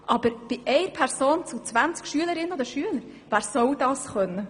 Aber wer soll das bei 20 SchülerInnen können?